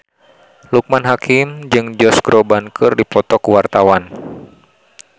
Loekman Hakim jeung Josh Groban keur dipoto ku wartawan